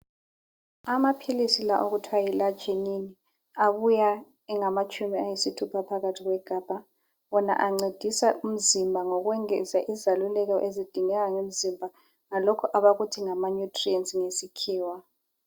Amaphilisi la okuthwa yilarginine abuya engamatshumi ayisithupha phakathi kwegabha. Wona ancedisa umzimba ngokwengeza izaluleko ezidingeka ngemzimba ngalokho abakuthi ngamanutrients ngesikhiwa.